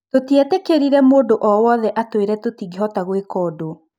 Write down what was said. " Tũtietĩkĩrire mũndũ o-wothe atũĩre tũtingĩhota gwĩka ũndũ."